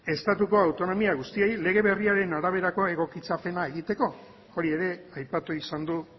estatuko autonomia guztiei lege berriaren araberakoa egokitzapena egiteko hori ere aipatu izan du